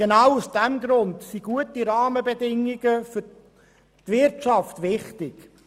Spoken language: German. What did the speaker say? Genau deshalb sind gute Rahmenbedingungen für die Wirtschaft wichtig.